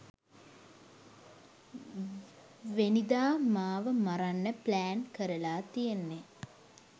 වෙනිදා මාව මරන්න ප්ලැන් කරලා තියෙන්නේ.